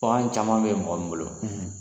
caman bɛ yen o b'an bolo.